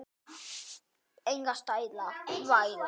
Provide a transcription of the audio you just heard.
Halla mér að honum.